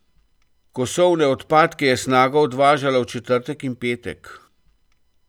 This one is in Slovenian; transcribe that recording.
Kosovne odpadke je Snaga odvažala v četrtek in petek.